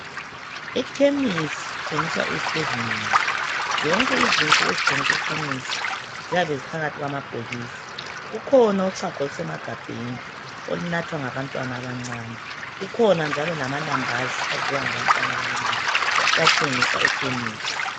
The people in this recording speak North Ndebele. Ekhemisi kuthengiswa izinto ezinengi zonke izinto ezithengiswa ekhemisi ziyabe ziphakathi kwamabhokisi kukhona uchago olusemagabheni olunathwa ngabantwana abancane kukhona njalo lamalambazi adliwa ngabantwana abancane